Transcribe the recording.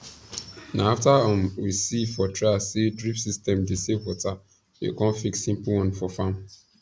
na after um we see for trial say drip system dey save water we come fix simple one for farm